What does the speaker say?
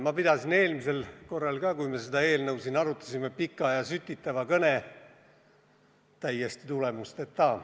Ma pidasin eelmisel korral, kui me seda eelnõu siin arutasime, pika ja sütitava kõne – täiesti tulemusteta.